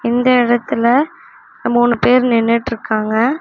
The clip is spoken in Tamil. இந்த இடத்துல மூனு பேரு நின்னுட்டுருக்காங்க.